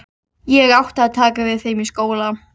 Ég átti að taka við þeim skóla.